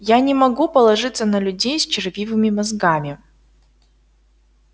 я не могу положиться на людей с червивыми мозгами